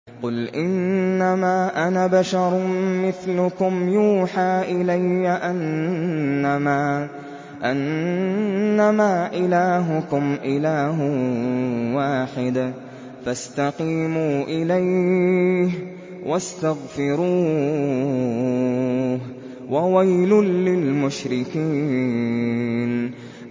قُلْ إِنَّمَا أَنَا بَشَرٌ مِّثْلُكُمْ يُوحَىٰ إِلَيَّ أَنَّمَا إِلَٰهُكُمْ إِلَٰهٌ وَاحِدٌ فَاسْتَقِيمُوا إِلَيْهِ وَاسْتَغْفِرُوهُ ۗ وَوَيْلٌ لِّلْمُشْرِكِينَ